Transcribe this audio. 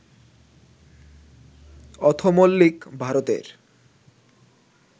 অথমল্লিক, ভারতের